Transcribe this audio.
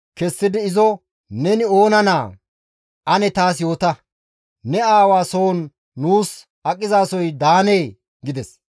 kessidi izo, «Neni oona naa? Ane taas yoota; ne aawa soon nuus aqizasoy daanee?» gides.